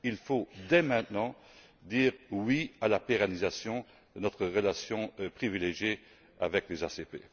Il faut, dès maintenant, dire oui à la pérennisation de notre relation privilégiée avec les pays ACP.